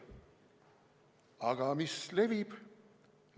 Aga mis levib?